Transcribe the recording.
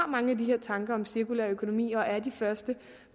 mange af de her tanker om cirkulær økonomi og et af de første